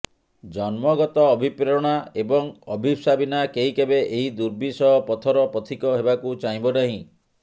ଜନ୍ମଗତ ଅଭିପ୍ରେରଣା ଏବଂ ଅଭିପ୍ସା ବିନା କେହି କେବେ ଏହି ଦୁର୍ବିସହ ପଥର ପଥିକ ହେବାକୁ ଚାହିଁବ ନାହିଁ